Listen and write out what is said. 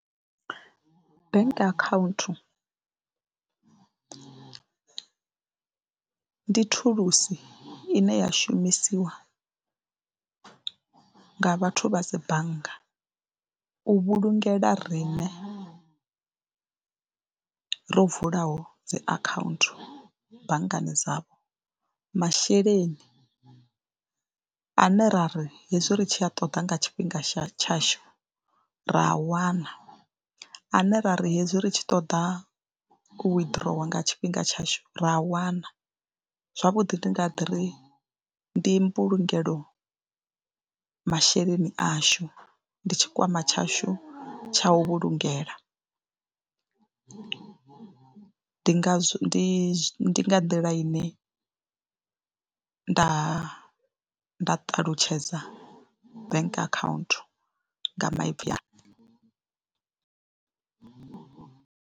Bank akhaunthu ndi thulusi ine ya shumisiwa nga vhathu vha dzi bannga u vhulungela riṋe ro vulaho dzi akhaunthu banngani dzavho masheleni ane ra ri hezwi ri tshi a ṱoḓa nga tshifhinga tsha tshashu ra a wana, ane ra ri hezwi ri tshi ṱoḓa u withdrawer nga tshifhinga tshashu ra a wana. Zwavhuḓi ndi nga ḓi ri ndi mbulungelo masheleni ashu, ndi tshikwama tshashu tsha u vhulungela, ndi nga zwo ndi ndi nga nḓila ine nda nda ṱalutshedza bank akhaunthu nga maipfhi anga.